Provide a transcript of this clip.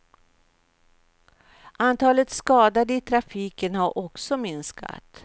Antalet skadade i trafiken har också minskat.